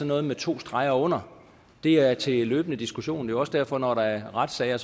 noget med to streger under det er til løbende diskussion det er også derfor at når der er retssager